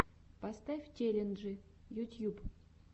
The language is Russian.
поставь челленджи ютьюб